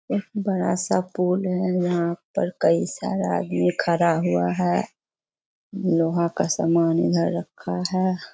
एक बड़ा सा पूल है यहाँ पर कई सारा आदमी खड़ा हुआ है लोहा का सामान यहाँ रखा है।